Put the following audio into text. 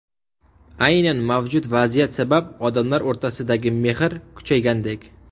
Aynan mavjud vaziyat sabab odamlar o‘rtasidagi mehr kuchaygandek.